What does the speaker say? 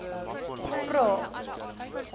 vrae